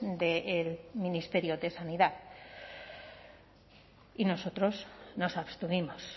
del ministerio de sanidad y nosotros nos abstuvimos